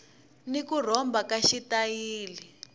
ni ku rhomba ka xitayili